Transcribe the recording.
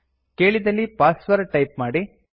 ಕೇಳಿದಲ್ಲಿ password type ಮಾಡಿ